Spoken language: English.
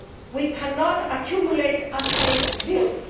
We cannot accumulate unpaid bills.